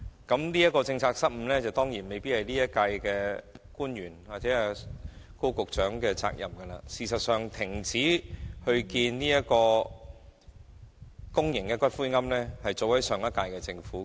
當然，有關政策失誤的責任未必在今屆政府官員或高局長，而事實上，停止興建公營骨灰安置所確是上屆政府的決定。